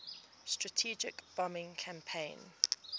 strategic bombing campaign